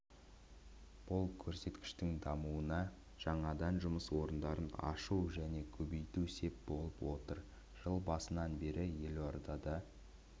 бұл көрсеткіштің дамуына жаңадан жұмыс орындарын ашу және көбейту сеп болып отыр жыл басынан бері елордада